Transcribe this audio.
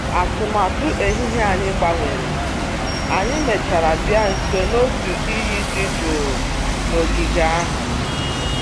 Atụmatụ ehihie anyị gbanwere, anyị mèchàrà bịa nso n'otu iyi dị jụụ n'ogige ahụ